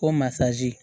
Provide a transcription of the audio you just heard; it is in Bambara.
Ko masaz